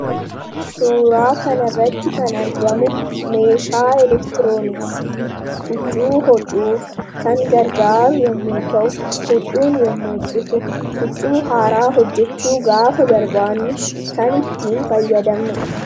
Suuraa kanarratti kan argamu meeshaa elektirooniksii huccuu hodhuuf kan gargaaru yommuu ta'u, huccuun yommuu citu, huccuu haaraa hojjechuu gaafa barbaannu, kan ittiin fayyadamnu dha.